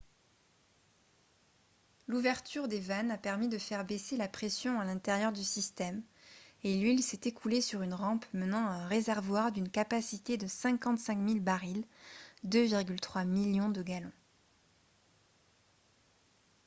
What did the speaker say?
l'ouverture des vannes a permis de faire baisser la pression à l'intérieur du système et l'huile s'est écoulée sur une rampe menant à un réservoir d'une capacité de 55 000 barils 2,3 millions de gallons